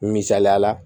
Misaliya la